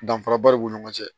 Danfaraba de b'u ni ɲɔgɔn cɛ